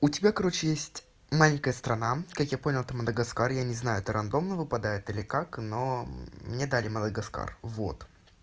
у тебя короче есть маленькая страна как я понял это мадагаскар я не знаю это случайно выпадает или как но мне дали мадагаскар вот